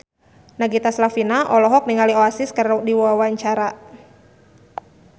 Nagita Slavina olohok ningali Oasis keur diwawancara